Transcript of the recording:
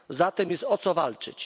Zatem jest o co walczyć.